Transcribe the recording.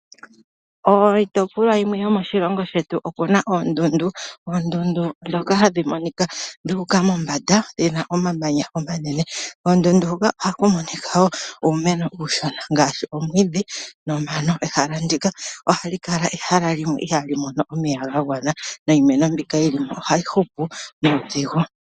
Iitopolwa yimwe yomoshilongo shetu oyi na oondundu, ndhoka hadhi monika dhu uka mombanda, dhi na omamanya omanene. Koondundu hoka ohaku monika wo uumeno uushona ngaashi: omwiidhi nomano. Ehala ndika ohali kala ehala limwe ndyoka ihali mono omeya ga gwana, niimeno mbika yi li mo ohayi hupu nuudhigu.